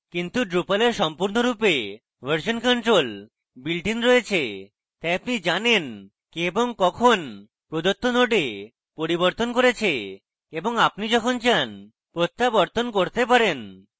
কিন্তু drupal এর সম্পূর্ণরূপে version control builtin রয়েছে তাই আপনি জানেন কে এবং কখন প্রদত্ত node পরিবর্তন করা হয়েছে এবং আপনি যখন চান প্রত্যাবর্তন করতে পারেন